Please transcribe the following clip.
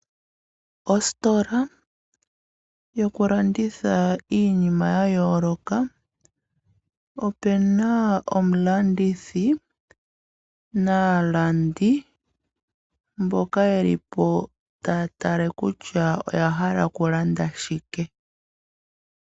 Ositola yokulanditha iinima ya yooloka, opena omulandithi naalandi mboka yelipo taya tala kutya oya hala okulanda shike.